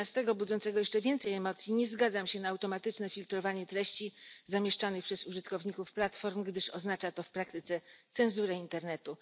13 budzącego jeszcze więcej emocji nie zgadzam się na automatyczne filtrowanie treści zamieszczanych przez użytkowników platform, gdyż oznacza to w praktyce cenzurę internetu.